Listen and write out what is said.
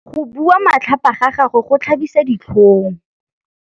Go bua matlhapa ga gagwe go tlhabisa ditlhong.